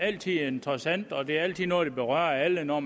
altid interessant og det er altid noget der berører alle når